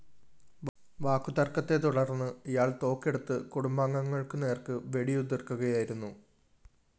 വാക്കു തര്‍ക്കത്തെ തുടര്‍ന്ന് ഇയാള്‍ തോക്കെടുത്ത് കുടുംബാംഗങ്ങള്‍ക്കു നേര്‍ക്ക് വെടിയുതിര്‍ക്കുകയായിരുന്നു